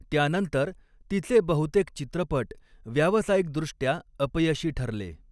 त्यानंतर, तिचे बहुतेक चित्रपट व्यावसायिकदृष्ट्या अपयशी ठरले.